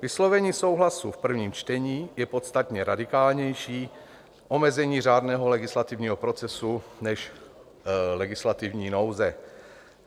Vyslovení souhlasu v prvním čtení je podstatně radikálnější omezení řádného legislativního procesu než legislativní nouze.